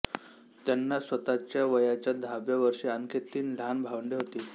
त्यांना स्वतःच्या वयाच्या दहाव्या वर्षी आणखी तीन लहान भावंडे होती